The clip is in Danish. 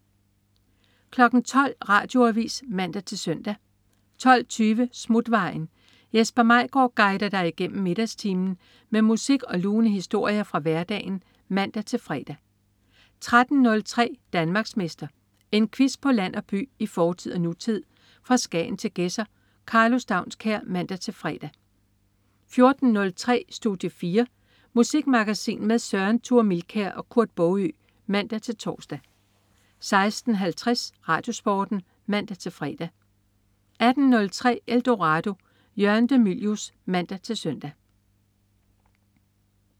12.00 Radioavis (man-søn) 12.20 Smutvejen. Jesper Maigaard guider dig igennem middagstimen med musik og lune historier fra hverdagen (man-fre) 13.03 Danmarksmester. En quiz på land og by, i fortid og nutid, fra Skagen til Gedser. Karlo Staunskær (man-fre) 14.03 Studie 4. Musikmagasin med Søren Thure Milkær og Kurt Baagø (man-tors) 16.50 RadioSporten (man-fre) 18.03 Eldorado. Jørgen de Mylius (man-søn)